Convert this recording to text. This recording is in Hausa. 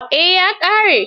Eh, ya ƙare.